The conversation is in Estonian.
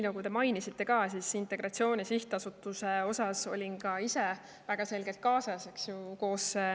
Teie mainitud Integratsiooni Sihtasutuse puhul ma olin ka ise väga selgelt kaasas, eks ju.